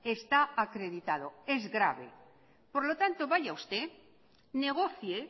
está acreditado es grave por lo tanto vaya usted negocie